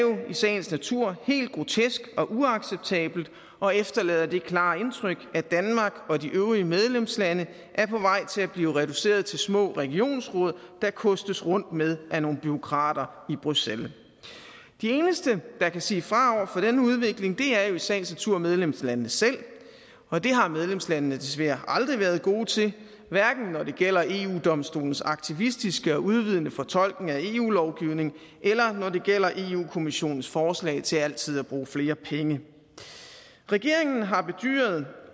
sagens natur helt grotesk og uacceptabelt og efterlader det klare indtryk at danmark og de øvrige medlemslande er på vej til at blive reduceret til små regionsråd der kostes rundt med af nogle bureaukrater i bruxelles de eneste der kan sige fra over for denne udvikling er jo i sagens natur medlemslandene selv og det har medlemslandene desværre aldrig været gode til hverken når det gælder eu domstolens aktivistiske og udvidende fortolkning af eu lovgivningen eller når det gælder europa kommissionens forslag til altid at bruge flere penge regeringen har bedyret